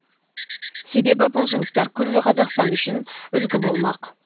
себебі бұл жұмыстар күллі қазақстан үшін үұлгі болмақ